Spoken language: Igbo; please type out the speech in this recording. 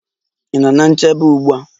Ị nọ ná nchebe ugbu a?